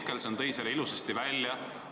Marko Mihkelson tõi selle ilusasti välja.